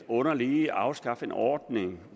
underligt i at afskaffe en ordning